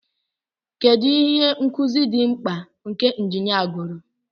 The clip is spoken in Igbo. Kedu ihe nkuzi dị mkpa nke injinia gụrụ?